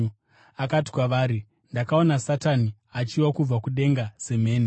Akati kwavari, “Ndakaona Satani achiwa kubva kudenga semheni.